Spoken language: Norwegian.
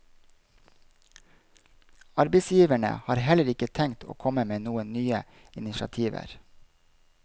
Arbeidsgiverne har heller ikke tenkt å komme med noen nye initiativer.